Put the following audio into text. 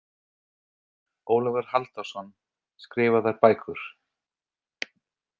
Ólafur Halldórsson, „Skrifaðar bækur.“